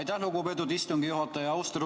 Aitäh, lugupeetud istungi juhataja!